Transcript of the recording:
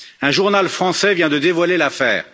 Un journal français vient de dévoiler l'affaire.